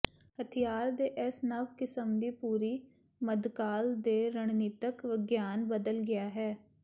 ਹਥਿਆਰ ਦੇ ਇਸ ਨਵ ਕਿਸਮ ਦੀ ਪੂਰੀ ਮੱਧਕਾਲ ਦੇ ਰਣਨੀਤਕ ਵਿਗਿਆਨ ਬਦਲ ਗਿਆ ਹੈ